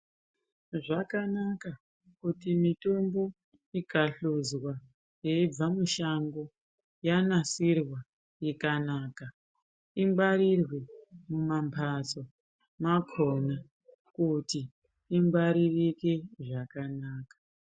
Zvakanaka kuti mitombo ikahluzwa yeibva mushango yanasirwa ikanaka ingwarirwe mumambatso makona kuti ingwaririke zvakanaka.